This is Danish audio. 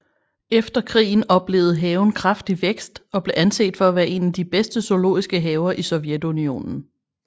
Efter krigen oplevede haven kraftig vækst og blev anset for at være en af de bedste zoologiske haver i Sovjetunionen